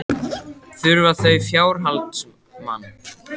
Þurfa þau fjárhaldsmann?